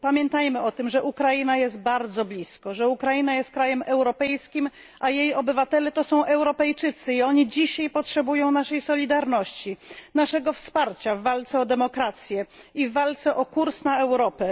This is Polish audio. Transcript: Pamiętajmy o tym, że Ukraina jest bardzo blisko, że Ukraina jest krajem europejskim, a jej obywatele to są Europejczycy i oni dzisiaj potrzebują naszej solidarności, naszego wsparcia o demokrację i walce o kurs na Europę.